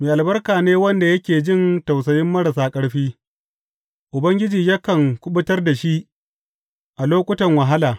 Mai albarka ne wanda yake jin tausayin marasa ƙarfi; Ubangiji yakan kuɓutar da shi a lokutan wahala.